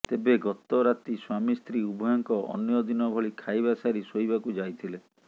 ତେବେ ଗତ ରାତି ସ୍ବାମୀ ସ୍ତ୍ରୀ ଉଭୟଙ୍କ ଅନ୍ୟ ଦିନ ଭଳି ଖାଇବା ସାରି ଶୋଇବାକୁ ଯାଇଥିଲେ